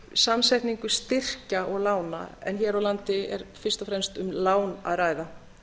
samsetningu styrkja og lána en hér á landi er fyrst og fremst um lán að ræða